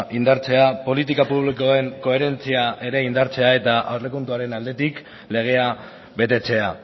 indartzea politika publikoen koherentzia ere indartzea eta aurrekontuaren aldetik legea betetzea